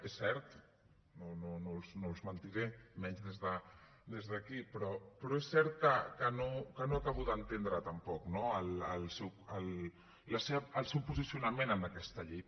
és cert no els mentiré i menys des d’aquí però és cert que no acabo d’entendre tampoc no el seu posicionament en aquesta llei